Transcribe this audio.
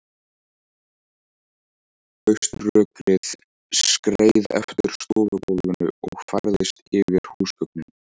Hauströkkrið skreið eftir stofugólfinu og færðist yfir húsgögnin.